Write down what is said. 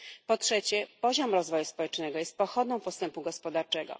Po trzecie, poziom rozwoju społecznego jest pochodną postępu gospodarczego.